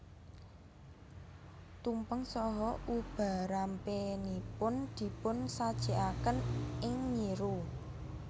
Tumpeng saha ubarampenipun dipunsajekaken ing nyiru